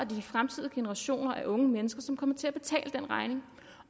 det de fremtidige generationer af unge mennesker som kommer til at betale den regning